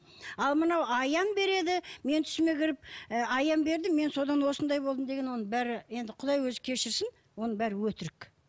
ал мынау аян береді менің түсіме кіріп ы аян берді мен содан осындай болдым деген оның бәрі енді құдай өзі кешірсін оның бәрі өтірік